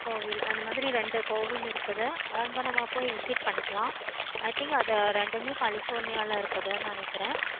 கோவில் அந்த மாதிறி ரெண்டு கோவில் இருக்குது. அங்க நம்ம போய் visit பண்ணிக்கலாம். i think அத ரெண்டுமே california ல ரெண்டுமே இருக்குது நினைக்கேனே.